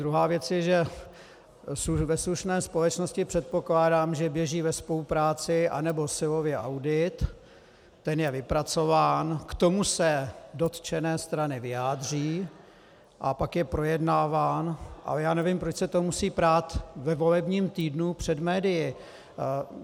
Druhá věc je, že ve slušné společnosti předpokládám, že běží ve spolupráci, anebo silově audit, ten je vypracován, k tomu se dotčené strany vyjádří, a pak je projednáván, ale já nevím, proč se to musí prát ve volebním týdnu před médii.